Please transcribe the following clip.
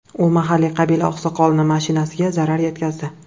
U mahalliy qabila oqsoqolining mashinasiga zarar yetkazdi.